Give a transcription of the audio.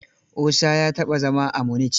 Osa ya taɓa zama a Munich.